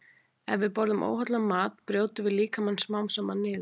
Ef við borðum óhollan mat brjótum við líkamann smám saman niður.